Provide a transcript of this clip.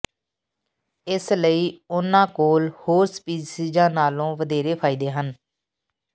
ਇਸ ਲਈ ਉਨ੍ਹਾਂ ਕੋਲ ਹੋਰ ਸਪੀਸੀਜ਼ਾਂ ਨਾਲੋਂ ਵਧੇਰੇ ਫਾਇਦੇ ਹਨ